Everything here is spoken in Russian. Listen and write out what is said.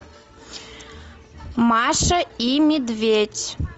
маша и медведь